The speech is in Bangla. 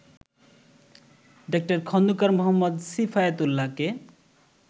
ডা. খন্দকার মো. সিফায়েত উল্লাহকে